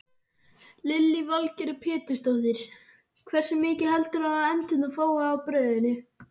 Lillý Valgerður Pétursdóttir: Hversu mikið heldurðu að endurnar fái af brauðinu?